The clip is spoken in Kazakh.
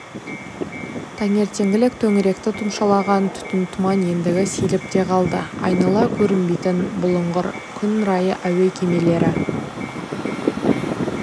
таңертеңгілік төңіректі тұмшалаған түтін тұман ендігі сейіліп те қалды айнала көрінбейтін бұлыңғыр күн райы әуе кемелері